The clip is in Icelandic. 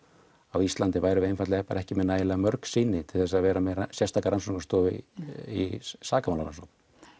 á Íslandi værum við ekki með nægilega mörg sýni til þess að vera með sérstaka rannsóknarstofu í í sakamálarannsókn